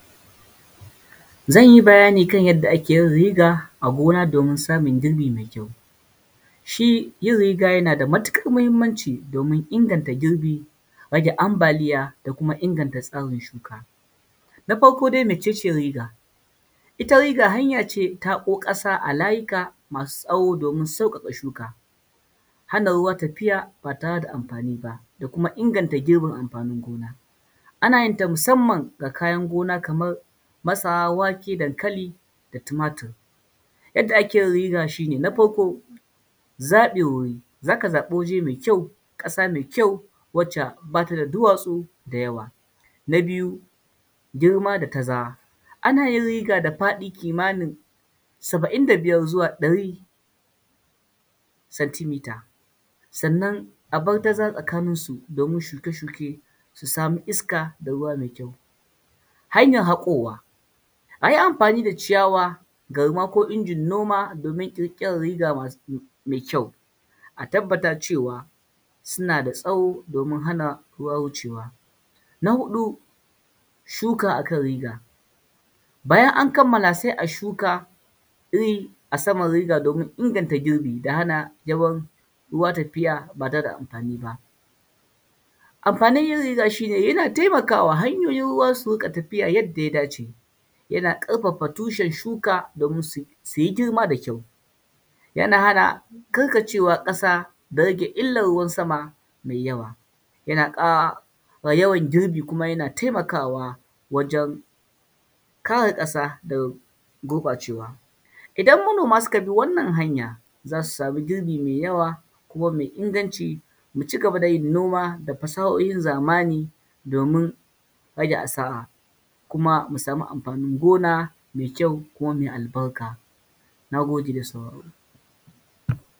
Zan yi bayani kan yadda ake yin riga a gona domin samun girbi mai kyau. Shi yin riga yana da matuƙar muhimmanci domin inganta girbi, rage ambaliya da kuma inganta samun shuka. Na farko dai mece ce riga? Ita riga hanya ce ta haƙo ƙasa a layuka masu tsawo domin sauƙaƙa shuka, hana ruwa tafiya ba tare da amfani ba, da kuma inganta girbin amfanin gona. Ana yin ta musamman ga kayan gona kamar masara, wake, dankali, da tumatur. Yadda ake yin riga shi ne, na farko zaɓin wuri. Za ka zaɓi waje mai kyau, ƙasa mai kyau wacce ba ta da duwatsu da yawa. Na biyu, girma da tazara. Ana yin riga da faɗi kimanin saba'in da biyar zuwa ɗari, santimita, sannan a bar tazara tsakaninsu domin shuke-shuke su samu iska da ruwa mai kyau. Hanyar haƙowa. A yi amfani da ciyawa, garma ko injin noma domin ƙirƙirar riga mai kyau. A tabbata cewa, suna da tsawo domin hana ruwa wucewa. Na huɗu, shuka a kan riga. Bayan an kammala sai a shuka iri a saman riga domin inganta girbi da hana yawan ruwa tafiya ba tare da amfani ba. Amfanin yin riga shi nel yana taimakawa hanyoyin ruwa su riƙa tafiya yadda ya dace. Yana ƙarfafa tushen shuka domin su yi girma da kyau. Yana hana karkacewa ƙasa da rage illar ruwan sama mai yawa. Yana ƙara yawan girbi, kuma yana taimakawa wajen kare ƙasa daga gurɓacewa. Idan manoma suka bi wannan hanya, za su samu girbi mafi yawa, kuma mai inganci, mu ci gaba da yin noma da fasahohin zamani domin rage asara, kuma mu samu amfanin gona mai kyau kuma mai albarka. Na gode da sauraro.